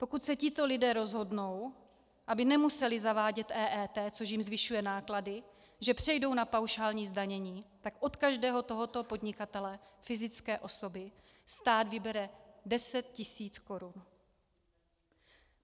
Pokud se tito lidé rozhodnou, aby nemuseli zavádět EET, což jim zvyšuje náklady, že přejdou na paušální zdanění, tak od každého tohoto podnikatele fyzické osoby stát vybere 10 tisíc korun.